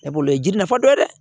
Ne b'o ye jiri nafa dɔ ye dɛ